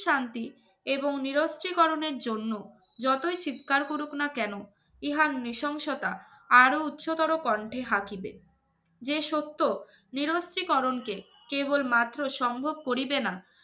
শান্তি এবং নিরস্ত্রিকরণের জন্য যতই চিৎকার করুক না কেন ইহার নৃশংসতা আরো উচ্চতর কন্ঠে হাকিবে যে সত্য নিরস্ত্রীকরণকে কেবলমাত্র সম্ভব করিবেন